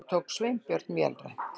endurtók Sveinbjörn vélrænt.